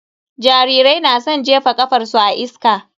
Jarirai na san jefa ƙafarsu a iska.